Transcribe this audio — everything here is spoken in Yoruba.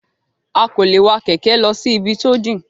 A kò lè wa kẹ̀kẹ́ lọ sí ibi tó jìn.